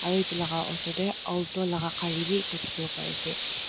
aro edu laka osor tae aulto laka gari bi ekta dikhiwo parease.